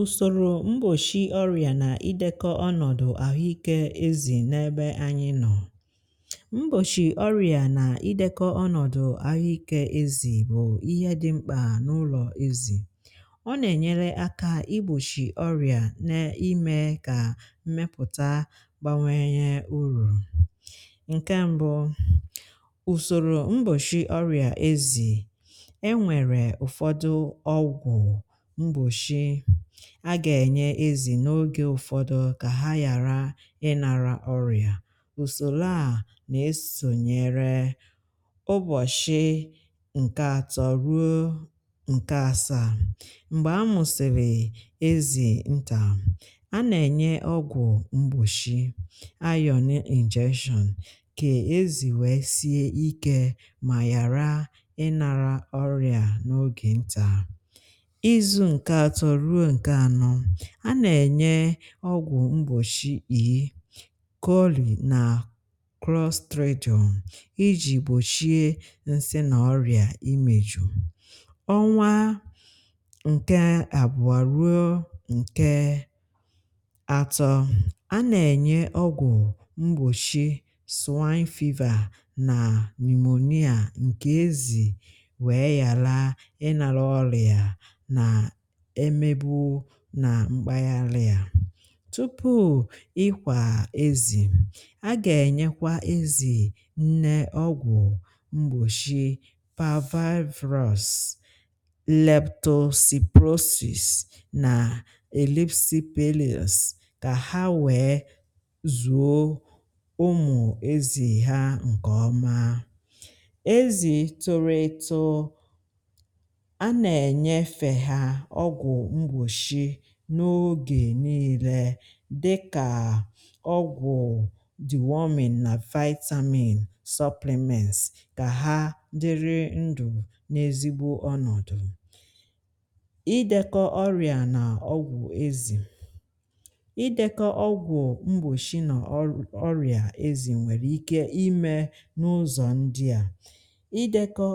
usòrò mgbòchi ọ̀rịà nà idékọ̀ ọnọ̀dụ̀ ahụ́iké ezì n’ebe anyị nọ̀. mgbòchi ọ̀rịà nà idékọ̀ ọnọ̀dụ̀ ahụ́iké ezì bụ̀ ihe dị̄ mkpà n’ụlọ̀ ezì. ọ nà-ènyere akà um igbòchi ọ̀rịà, nà-ìmè kà mmepụ̀tà gbanwèè nye ùrù. ǹkè mbụ̀, usòrò mgbòchi ọ̀rịà ezì a gà-ènye ezì n’ogè ụfọ̀dụ̀ kà ha yàra ịnàrà ọ̀rịà. ùsòlò a nà-esònyèrè ụbọ̀shị̀ nkè atọ̀ ruo nkè asaa, m̀gbè a mụ̀sèlè ezì ntà, a nà-ènye ọgwụ̀ mgbòshị̀ ayò injection kà ezì wèe sie ikė mà yàra ịnàrà ọ̀rịà. n’ogè ntà izu nkè atọ̀ ruo nke anọ, a nà-ènye ọgwụ̀ mgbòchi ịkọlị nà cross street ọṅụ iji gbochie nsị na ọrịa imeju. ọnwa nke abụọ ruo nke atọ, a nà-ènye ọgwụ̀ mgbòchi swine fiber nà ammonia ǹkè ezì wèe yàra ịnàrà ọ̀rịà. nà mkpà yàrị̀à yà, tupu ị kwà ezì̇, a gà-ènyekwa ezì nnè ọgwụ̀ mgbòchi Parvax leptospirosis, leptospirosis nà elizipelis kà ha wèe zuò ụmụ ezì̇ ha nkè ọma. ezì̇ toro eto n’ogè niile dịkà ọgwụ̀ diwòmị̀ nà vitamin supplements kà ha dịrị ndụ̀ n’ezigbo ọnọdụ̀. idékọ̇ ọ̀rịà n’ọgwụ̀ ezì, idekọ ọgwụ̀ mgbòshị n’ọ̀rịà ezì, nwèrè ike imè n’ụzọ̀ ndià idekọ̇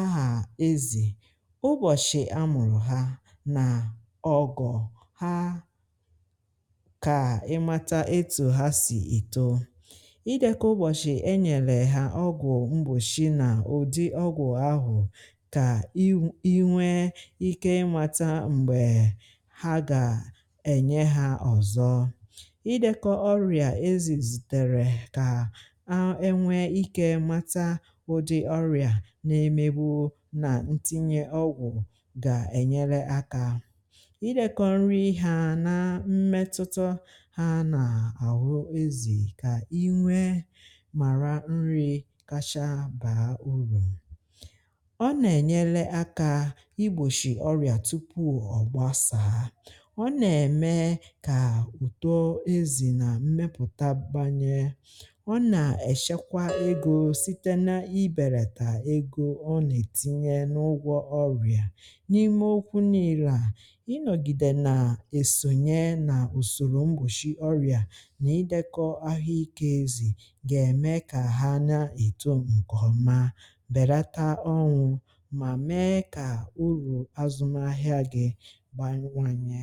aghà ezì ha kà ịmàtà etù ha sì èto, idėkà ụbọ̀shị̀ e nyèlè hà ọgwụ̀ mgbòshị nà ùdi ọgwụ̀ ahụ̀, kà i nwee ikė mata m̀gbè ha gà-ènye hȧ ọ̀zọ̀. idékà ọ̀rịà ezì zìtèrè kà ànwee ikė mata ụdị ọ̀rịà na-emebu̇ nà ntinye ọgwụ̀. idékọ̇ nri, ihe a nà mmetụtụ ha, nà-ahụ ezì, kà i nwee mara nri kachàà bàa ùrù ọ nà-enyela akà um igbòshì ọ̀rịà tupu ọ̀gbàsàà. ọ nà-eme kà ùtò ezì nà mmepụ̀tà gbànyè, ọ nà-echekwà egȯ site n’ìbèlètà egȯ ọ nà-etinye n’ụgwọ̀ ọ̀rịà. èsònye nà usòrò mgbòchi ọ̀rịà nà idékọ̀ ahụ́iké ezì gà-èmè kà ha nà-èto ǹkè ọma, bèrèta ọnwụ, mà mee kà ùrù azụmahịa gị gbàwanyè.